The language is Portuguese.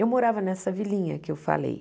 Eu morava nessa vilinha que eu falei.